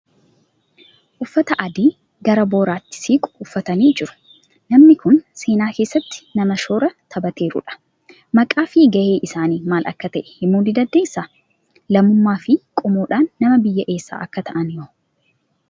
Uffata adii gara boiraatti siqu uffatanii jiru. Namni kun seenaa keessatti nama shoora taphateerudha. Maqaa fi gaheen isaanii maal akka ta'e himuu ni dandeessaa? Lammummaa fi qomoodhaan nama biyyaa eessaa akka ta'ani hoo?